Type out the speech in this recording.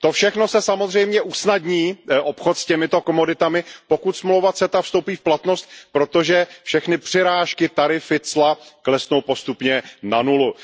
To všechno se samozřejmě usnadní, obchod s těmito komoditami, pokud dohoda CETA vstoupí v platnost, protože všechny přirážky, tarify, cla klesnou postupně na nulu.